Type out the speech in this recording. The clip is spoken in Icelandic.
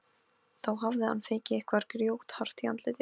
Þá hafði hann fengið eitthvað grjóthart í andlitið.